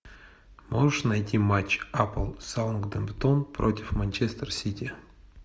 можешь найти матч апл саутгемптон против манчестер сити